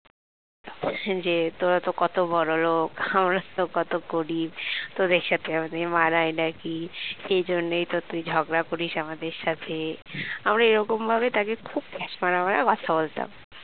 যে তোরা তো কত বড়লোক আমরা তো কত গরিব তোদের সাথে আমাদের মানায় নাকি এই জন্যই তো তুই ঝগড়া করিস আমাদের সাথে আমরা এরকম ভাবেই তাকে খুব ঠেস মারা মারা কথা বলতাম